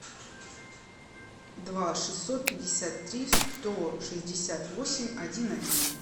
два шестьсот пятьдесят три сто шестьдесят восемь один один